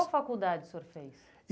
Qual faculdade o senhor fez?